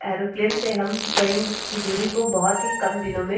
aeroplane से हम कई की दुरी को बहुत ही कम दिनों में --